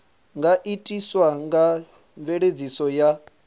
nga itiswa nga mveledziso ya